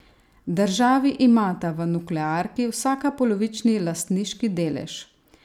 Državi imata v nuklearki vsaka polovični lastniški delež.